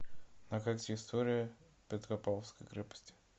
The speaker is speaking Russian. на карте история петропавловской крепости